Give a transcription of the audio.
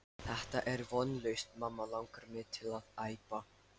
Þetta er vonlaust mamma langar mig til að æpa.